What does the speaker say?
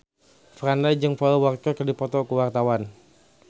Franda jeung Paul Walker keur dipoto ku wartawan